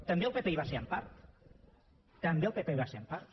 també el pp hi va ser en part també el pp hi va ser en part